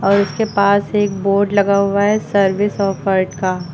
और इसके पास एक बोर्ड लगा हुआ है सर्विस ऑफर्ड का।